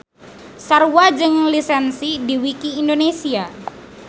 Sarua jeung lisensi di wiki indonesia